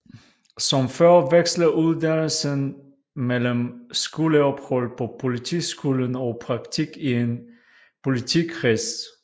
Som før veksler uddannelsen mellem skoleophold på Politiskolen og praktik i en politikreds